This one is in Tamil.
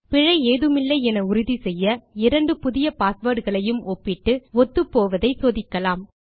பிழை ஏதுமில்லை என உறுதி செய்ய இரண்டு புதிய பாஸ்வேர்ட் களையும் ஒப்பிட்டு ஒத்துப்போவதை சோதிக்கலாம்